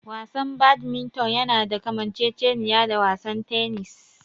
Wasan Badminton yana da kamanceceniya da wasan tennis.